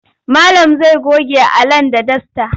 Malam zai goge Alan da dasta.